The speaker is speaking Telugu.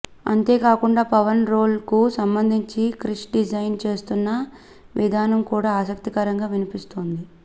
అంతే కాకుండా పవన్ రోల్ కు సంబంధించి క్రిష్ డిజైన్ చేస్తున్న విధానం కూడా ఆసక్తికరంగా వినిపిస్తుంది